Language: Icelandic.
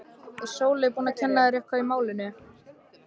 Er Sóley búin að kenna þér eitthvað í málinu?